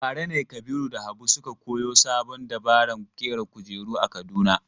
Bara ne Kabiru da Habu suka koyo sabon dabaran ƙera kujera a Kaduna.